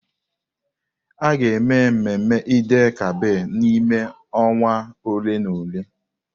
A ga-eme mmemme Eid-el-Kabir n'ime ọnwa ole na ole.